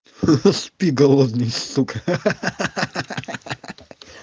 хи-хи спи голодный сука ха-ха-ха-ха-ха-ха-ха